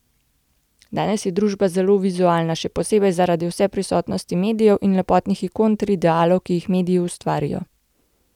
Danes je družba zelo vizualna, še posebej zaradi vseprisotnosti medijev in lepotnih ikon ter idealov, ki jih mediji ustvarijo.